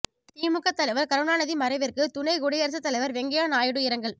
திமுக தலைவர் கருணாநிதி மறைவிற்கு துணை குடியரசுத் தலைவர் வெங்கைய்யா நாயுடு இரங்கல்